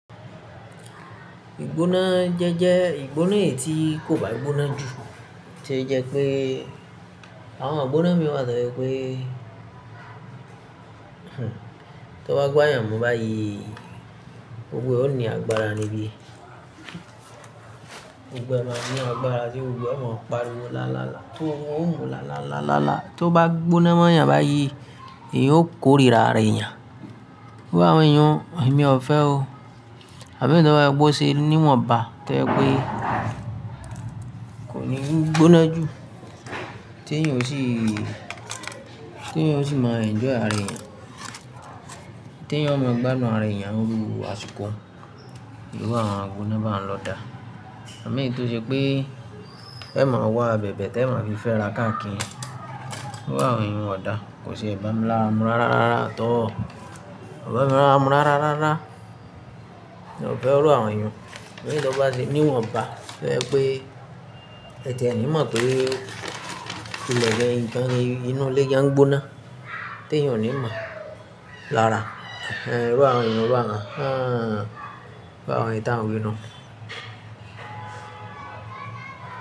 Ìgbóná jẹ́ jẹ́ ìgbóná ètí kò bá gbóná jù, tí ẹ jẹ́ pé àwọn àgbóná mi wà tẹ́lẹ̀ pé, tó bá gbá èèyàn mú báyìí, gbogbo ẹ ó ní agbára níbí. Gbogbo ẹ máa ní agbára tí ó gbọdọ̀ máa parí owó làálàá. Tó mú làálàá làálàá, tó bá gbóná mọ́ èèyàn báyìí, èyí ó korira ara èèyàn. Gbé àwọn èèyàn, èmi ò fẹ́ o. Àbí tó bá gbọ́ ṣe níwọ̀nba tẹ́lẹ̀ pé kò ní gbóná jù, tí èèyàn ò sì, tí èèyàn ò sì máa enjoy ara èèyàn. Tí èèyàn ò máa gbá inú ara èèyàn rú asiko, ìwọ àwọn àgbóná máa ń lọ dàá. Àbí nítorí pé ẹ máa wá abẹ̀bẹ̀ tẹ máa fi fẹ́ra káàkiri. Gbé àwọn èèyàn wọ̀dà, kò sì ẹ bá mú lára mú rárárá rárá tó. Ọ̀rẹ́ mi máa ń mú rárárá rárá. Mi ò fẹ́ ọ̀rẹ́ àwọn èèyàn. Mi ò ní tó bá ṣe níwọ̀nba, fẹ́ ẹ pé ẹ jẹ ẹni mó tó le gẹ́ nǹkan inú ilé yẹn gbóná, tí èèyàn ò ní máa làárà. Ẹ̀rù àwọn èèyàn, ẹ̀rù àwọn àwọn, àbí àwọn ètà òbí inu.